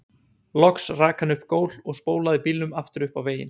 Loks rak hann upp gól og spólaði bílnum aftur upp á veginn.